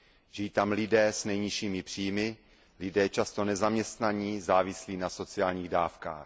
Žijí tam lidé s nejnižšími příjmy, lidé často nezaměstnaní, závislí na sociálních dávkách.